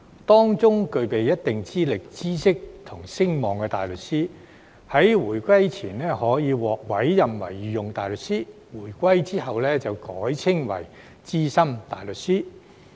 當中具備一定資歷、知識和聲望的大律師，在回歸前可獲委任為御用大律師，回歸後則改稱為資深大律師。